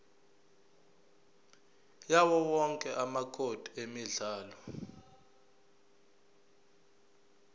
yawowonke amacode emidlalo